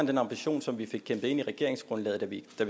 den ambition som vi fik kæmpet ind i regeringsgrundlaget da vi